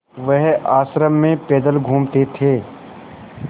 वह आश्रम में पैदल घूमते थे